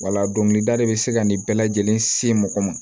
Wala dɔnkilida de bɛ se ka nin bɛɛ lajɛlen se mɔgɔ ma